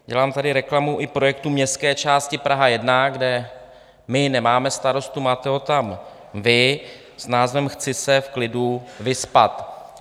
Dělám tady reklamu i projektu městské části Praha 1, kde my nemáme starostu, máte ho tam vy, s názvem Chci se v klidu vyspat.